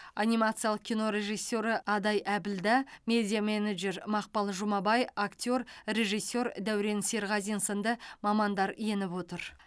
анимациялық кино режиссері адай әбілда медиа менеджер мақпал жұмабай актер режиссер дәурен серғазин сынды мамандар еніп отыр